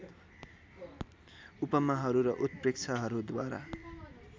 उपमाहरू र उत्प्रेक्षाहरूद्वारा